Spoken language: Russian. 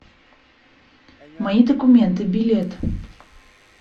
мои документы билет